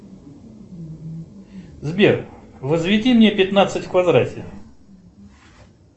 сбер возведи мне пятнадцать в квадрате